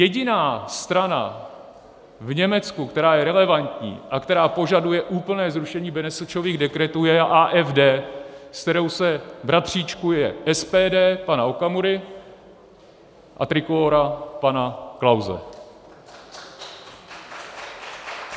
Jediná strana v Německu, která je relevantní a která požaduje úplné zrušení Benešových dekretů, je AFD, se kterou se bratříčkuje SPD pana Okamury a Trikolóra pana Klause.